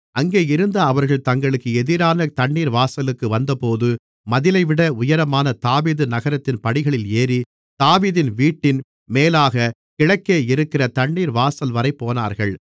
அங்கேயிருந்து அவர்கள் தங்களுக்கு எதிரான தண்ணீர்வாசலுக்கு வந்தபோது மதிலைவிட உயரமான தாவீது நகரத்தின் படிகளில் ஏறி தாவீது வீட்டின் மேலாகக் கிழக்கேயிருக்கிற தண்ணீர்வாசல்வரை போனார்கள்